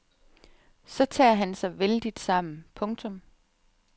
Så tager han sig vældigt sammen. punktum